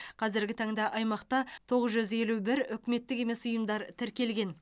қазіргі таңда аймақта тоғыз жүз елу бір үкіметтік емес ұйымдар тіркелген